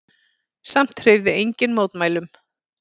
Samt hreyfði enginn mótmælum.